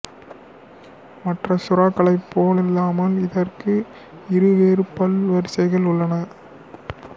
மற்ற சுறாக்களைப் போலல்லாமல் இதற்கு இருவேறு பல் வரிசைகள் உள்ளன